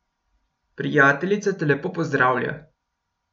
Prijateljica te lepo pozdravlja.